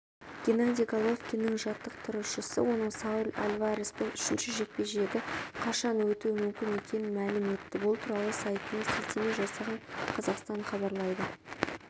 геннадий головкиннің жаттықтырушысы оның сауль альвареспен үшінші жекпе-жегі қашан өткуі мүмкін екенін мәлім етті бұл туралы сайтына сілтеме жасаған қазақстан хабарлайды